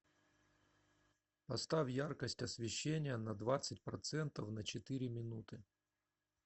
поставь яркость освещения на двадцать процентов на четыре минуты